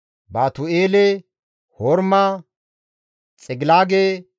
Baatu7eele, Horma, Xigilaage,